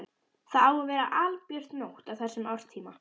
Það á að vera albjört nótt á þessum árstíma.